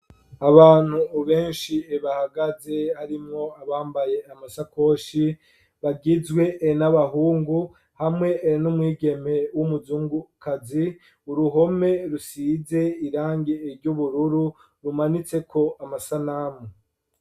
Abantu benshi bahagaze, harimwo abambaye amasakoshi, bagizwe n'abahungu hamwe n'umwigeme w'umuzungukazi, uruhome rusize irangi ry'ubururu rumanitseko amasanamu.